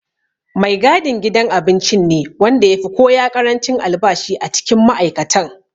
Mai gadin gidan abincin ne wanda ya fi koya ƙarancin albashi a cikin ma'aikatan.